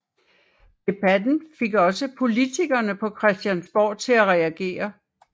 Debatten fik også politikerne på Christiansborg til at reagere